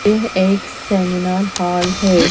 यह एक seminar hall है।